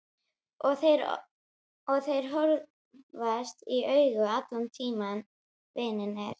Og þeir horfast í augu allan tímann vinirnir.